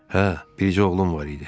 "Hə, bircə oğlum var idi.